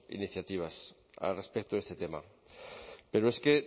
iniciativas respecto a este tema pero es que